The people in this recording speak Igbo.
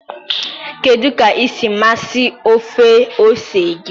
kedu ka esi amasị ofe ose gị?